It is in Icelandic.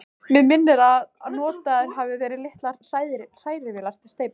Mig minnir, að notaðar hafi verið litlar hrærivélar við steypuna.